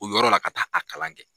O yɔrɔ la ka taa a kalan kɛ.